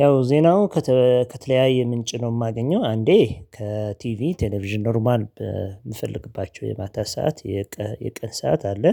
ያው ዜናው ከተለያየ ምንጭ ነው የማገኘው አንዴ ከቲቪ ቴሌቪዥን ኖርማል የምፈልግባቸው የማታ ሰዓት የቅን ሰዓት አለ።